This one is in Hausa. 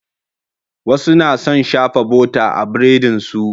Wasu na son shafa bota a burodinsu.